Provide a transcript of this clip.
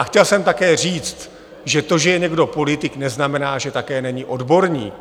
A chtěl jsem také říct, že to, že je někdo politik, neznamená, že také není odborník.